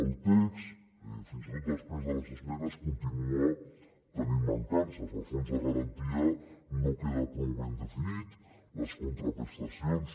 el text fins i tot després de les esmenes continua tenint mancances el fons de garantia no queda prou ben definit les contraprestacions